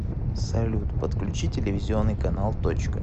салют подключи телевизионный канал точка